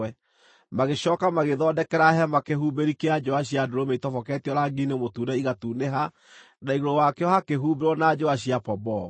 Magĩcooka magĩthondekera hema kĩhumbĩri kĩa njũa cia ndũrũme itoboketio rangi-inĩ mũtune igatunĩha, na igũrũ wakĩo hakĩhumbĩrwo na njũa cia pomboo.